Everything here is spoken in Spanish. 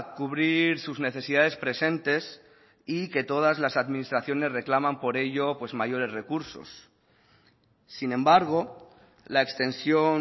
cubrir sus necesidades presentes y que todas las administraciones reclaman por ello pues mayores recursos sin embargo la extensión